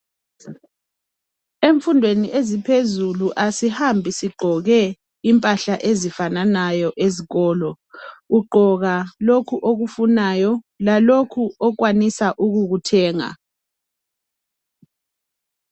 Emfundweni eziphezulu asihambi sigqoke impahla ezifananayo ezikolo ugqoka lokhu okufunayo lalokhu okwanisa ukukuthenga.